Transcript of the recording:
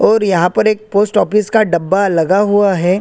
और यहाँ पर एक पोस्ट ऑफिस का डब्बा लगा हुआ है।